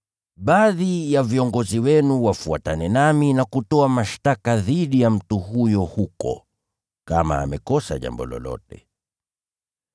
Baadhi ya viongozi wenu wafuatane nami na kutoa mashtaka dhidi ya mtu huyo huko, kama amekosa jambo lolote.”